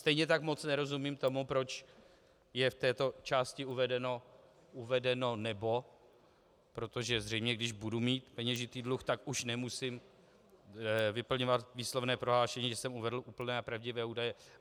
Stejně tak moc nerozumím tomu, proč je v této části uvedeno "nebo", protože zřejmě když budu mít peněžitý dluh, tak už nemusím vyplňovat výslovné prohlášení, že jsem uvedl úplné a pravdivé údaje.